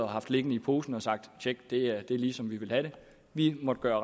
haft liggende i posen og sagt tjek det her det er lige som vi vil have det vi måtte gøre